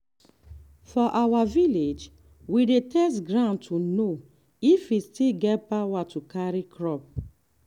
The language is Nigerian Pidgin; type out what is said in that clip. for our village we dey test ground to know if e still get power to carry crop.